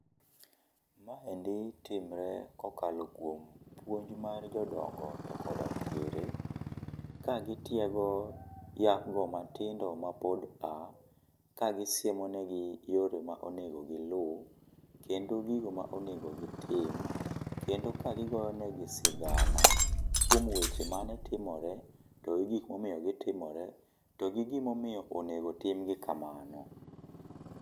Maendi timre kokalo kiom puonj mar jodongo to koda kwere ka gitiego yawa go matindo mapond pa ka gisiemonegi yore ma onego gi lu kendo gigi ma onego gitim kendo ka gigotonegi sigana kuom weche mane timore to gi gik momiyo negitomore to gi gimomiyo onego otimgi kamano.